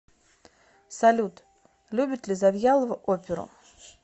салют любит ли завьялова оперу